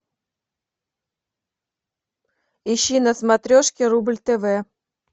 ищи на смотрешке рубль тв